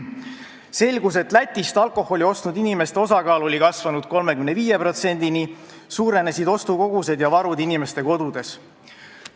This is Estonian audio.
Selgus, et Lätist alkoholi ostnud inimeste osakaal oli kasvanud 35%-ni, suurenenud olid ostukogused ja varud inimeste kodudes.